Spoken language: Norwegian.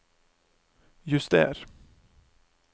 juster